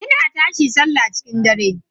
Ina tashi sallah cikin dare.